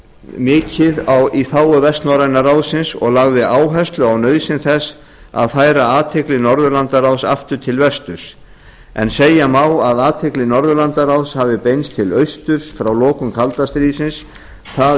mikið í þágu vestnorræna ráðsins og lagði áherslu á nauðsyn þess að færa athygli norðurlandaráðs aftur til vesturs en segja má að athygli norðurlandaráðs hafi beinst til austurs frá lokum kalda stríðsins það